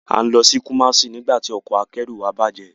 A ń lọ sí Kumasi nígbà tí ọkọ̀ akẹ́rù wa bạje.